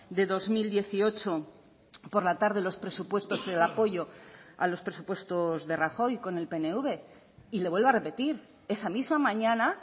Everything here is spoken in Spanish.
de dos mil dieciocho por la tarde los presupuestos el apoyo a los presupuestos de rajoy con el pnv y le vuelvo a repetir esa misma mañana